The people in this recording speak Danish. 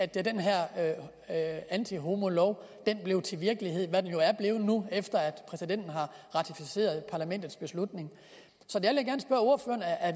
den her antihomolov blev til virkelighed hvad den jo er blevet nu efter at præsidenten har ratificeret parlamentets beslutning så der